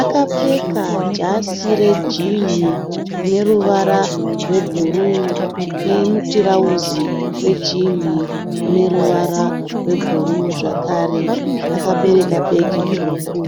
akapfeka jasi rejinhi rine ruvara rwebhuruu nemutirauzi wejinhi une ruvara rwebhuruu zvekare. Akabereka bhegi dzvuku.